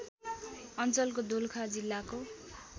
अञ्चलको दोलखा जिल्लाको